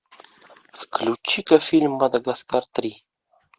включи ка фильм мадагаскар три